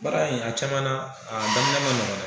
Baara in a caman na a daminɛ ma ɲɔgɔn dɛ